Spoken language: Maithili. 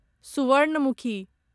सुवर्णमुखी